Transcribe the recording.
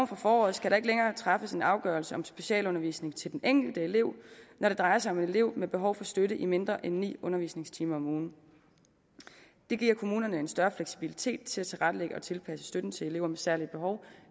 fra foråret skal der ikke længere træffes en afgørelse om specialundervisning til den enkelte elev når det drejer sig om en elev med behov for støtte i mindre end ni undervisningstimer om ugen det giver kommunerne en større fleksibilitet til at tilrettelægge og tilpasse støtten til elever med særlige behov